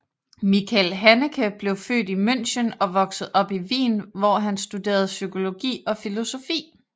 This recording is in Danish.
Michael Haneke blev født i München og voksede op i Wien hvor han studerede psykologi og filosofi